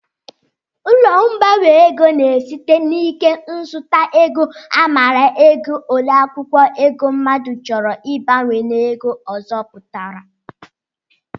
Ụlọ mgbanwe ego na-esite n'ike nzụta ego amara ego ole akwụkwọ ego mmadụ chọrọ ịgbanwe n'ego ọzọ pụtara